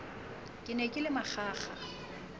ke ne ke le manganga